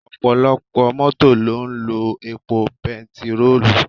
Ọ̀pọ̀lọpọ̀ Mọ́tò ló ń lo epo bẹntiróò